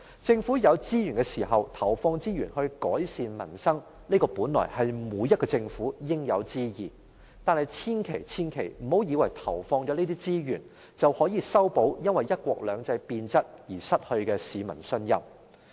政府有資源時，投放資源於改善民生，這本來是每個政府應有之義，但千萬不要以為投放這些資源，便可以修補因為"一國兩制"變質而失去的市民信任。